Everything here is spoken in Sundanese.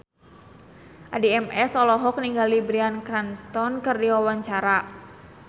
Addie MS olohok ningali Bryan Cranston keur diwawancara